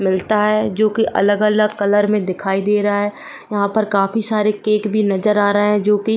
मिलता है जोकी अगल-अगल कलर में दिखाई दे रहा है यहां पर काफी सारे केक भी नजर आ रहे हैं जोकी --